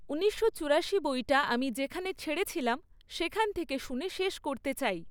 ঊনিশো চুরাশি বইটা আমি যেখানে ছেড়েছিলাম সেখান থেকে শুনে শেষ করতে চাই